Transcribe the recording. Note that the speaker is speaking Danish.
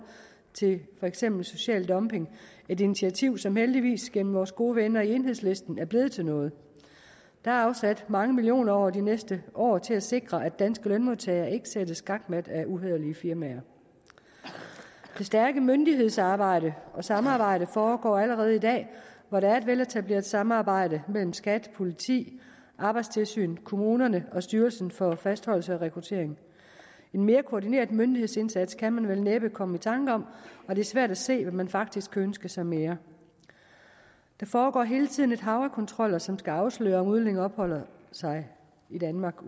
til for eksempel social dumping et initiativ som heldigvis gennem vores gode venner i enhedslisten er blevet til noget der er afsat mange millioner kroner over de næste år til at sikre at danske lønmodtagere ikke sættes skakmat af uhæderlige firmaer det stærke myndighedsarbejde og samarbejde foregår allerede i dag hvor der er et veletableret samarbejde mellem skat politi arbejdstilsynet kommunerne og styrelsen for fastholdelse og rekruttering en mere koordineret myndighedsindsats kan man vel næppe komme i tanke om og det er svært at se hvad man faktisk kan ønske sig mere der foregår hele tiden et hav af kontroller som skal afsløre om udlændinge opholder sig i danmark